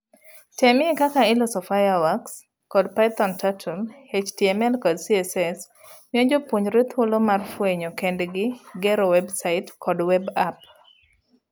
Temie; Kaka iloso fireworks kod Python Turtle HTML kod CSS miyo jopuonjre thuolo mar fuenyo kendgi gero website kod web app.